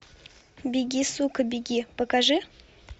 беги сука беги покажи